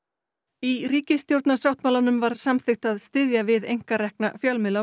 í ríkisstjórnarsáttmálanum var samþykkt að styðja við einkarekna fjölmiðla á